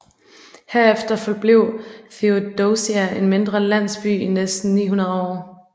Herefter forblev Theodosia en mindre landsby i næsten 900 år